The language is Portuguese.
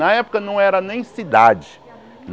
Na época não era nem cidade.